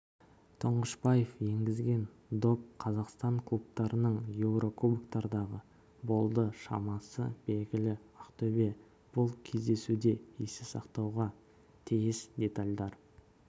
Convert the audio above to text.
тұңғышбаев енгізген доп қазақстан клубтарының еурокубоктардағы болды шамасы белгілі ақтөбе бұл кездесуде есте сақтауға тиіс детальдар